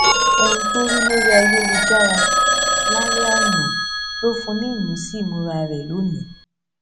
ohun tó rí lórí ayélujára lálẹ àná ló fún un ní ìmísí ìmúra rẹ lónìí